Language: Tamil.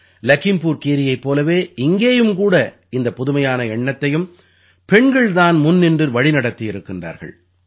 லகீம்புர் கீரீயைப் போலவே இங்கேயும் கூட இந்தப் புதுமையான எண்ணத்தையும் பெண்கள் தான் முன்நின்று வழிநடத்தி வருகிறார்கள்